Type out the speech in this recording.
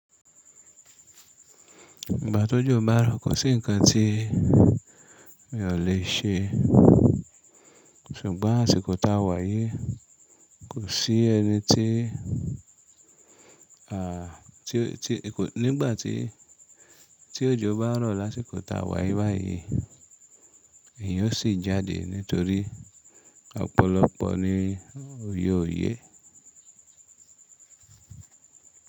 Ìgbà tí òjò bá rọ̀, kò sí ǹkan tí mi ò lè ṣe ṣùgbọ́n àsìkò tá a wá yii kò sí ẹni tí, à tí, tí, kò nígbà tí, tí òjò bá rọ̀ lásìkò tá a wáyé báyìí èeyan ó sì jáde nítorí ọ̀pọ̀lọpọ̀ ni òyẹ òyé.